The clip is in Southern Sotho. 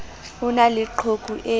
ho na le qhoku e